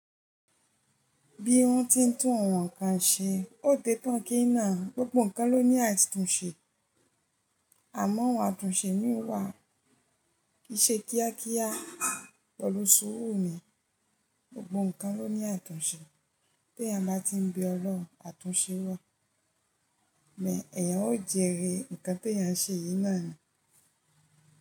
Bí wọ́n ti ń tún ohun kan ṣe, ó dẹ́ tán kí iná, gbogbo nkan ló ní àtúnṣe, àmọ́ awọ́n àtúnṣe mii wà, kii ṣe kíá kíá, pẹ̀lu sùúrù ni, gbogbo nkan ló ní àtúnṣe, b'éèyàn bá tí ń bẹ ọlọ́rùn àtúnṣe wá, bẹ̀ èèyàn ó jèrè nkan tí ẹ̀yẹn ṣe yìí náà ni.